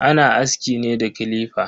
Ana aski ne da clipper.